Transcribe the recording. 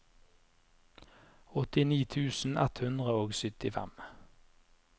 åttini tusen ett hundre og syttifem